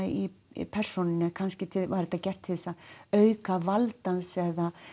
í persónunni kannski var þetta gert til að auka vald hans eða